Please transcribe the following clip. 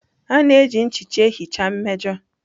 A na-eji nchicha ihicha mmejọ.